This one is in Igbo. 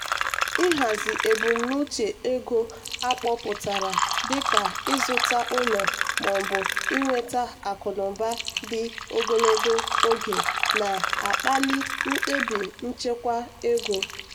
ịhazi ebumnuche ego akpọutara dịka ịzụta ụlọ maọbụ inweta akụnụba dị ogologo oge na-akpali mkpebi nchekwa ego.